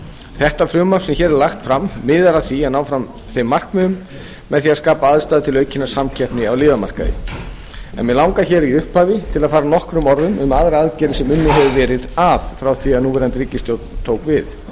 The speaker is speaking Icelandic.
þetta frumvarp sem hér er lagt fram miðar að því að ná fram þeim markmiðum með því að skapa aðstæður til aukinnar samkeppni á lyfjamarkaði en mig langar hér í upphafi til að fara nokkrum orðum um aðrar aðgerðir sem unnið hefur verið að frá því að núverandi ríkisstjórn tók við